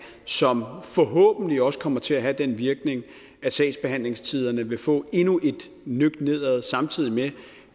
som forhåbentlig også kommer til at have den virkning at sagsbehandlingstiderne vil få endnu et nøk nedad samtidig med